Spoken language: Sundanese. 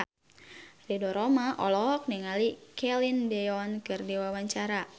Ridho Roma olohok ningali Celine Dion keur diwawancara